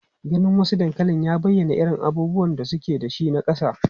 Ganin wasu dankalin ya bayyana irin abubuwan da suke da shi na kasa.